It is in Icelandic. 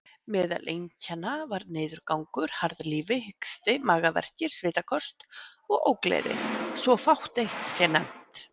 Meðal einkenna var niðurgangur, harðlífi, hiksti, magaverkir, svitaköst og ógleði, svo fátt eitt sé nefnt.